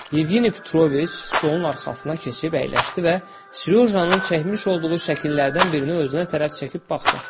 Yevgeniy Petroviç stolun arxasına keçib əyləşdi və Serjojanın çəkmiş olduğu şəkillərdən birini özünə tərəf çəkib baxdı.